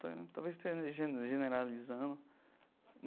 Tal talvez esteja gene generalizando.